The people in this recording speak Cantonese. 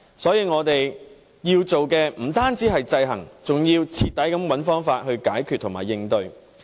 所以，我們要做的不單是制衡，而是須徹底地找方法解決和應對。